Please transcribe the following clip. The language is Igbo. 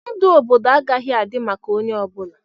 Ndụ obodo agaghị adị maka onye ọ bụla.